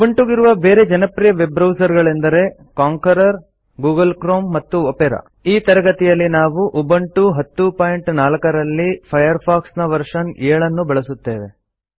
ಉಬುಂಟುವಿಗಿರುವ ಬೇರೆ ಜನಪ್ರಿಯ web browser ಗಳೆಂದರೆ ಕಾಂಕ್ವೆರರ್ ಗೂಗಲ್ ಕ್ರೋಮ್ ಮತ್ತು ಒಪೆರಾ ಈ ತರಗತಿಯಲ್ಲಿ ನಾವು ಉಬುಂಟು 1004 ರಲ್ಲಿ ಫೈರ್ಫಾಕ್ಸ್ ನ ವರ್ಷನ್ 70 ನ್ನು ಬಳಸುತ್ತೇವೆ